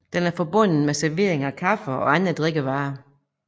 Den er forbundet med servering af kaffe og andre drikkevarer